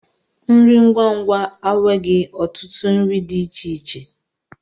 Nri ngwa ngwa aweghi otutu nri di ichie ichie.